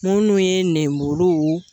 Minnu ye lenmuru